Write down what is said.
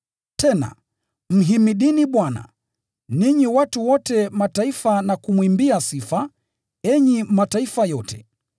Tena, “Msifuni Bwana, ninyi watu wa Mataifa wote, na kumwimbia sifa, enyi watu wote.”